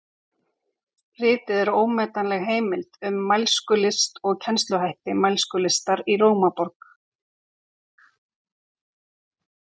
Ritið er ómetanleg heimild um mælskulist og kennsluhætti mælskulistar í Rómaborg.